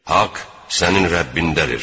Haqq sənin Rəbbindəndir.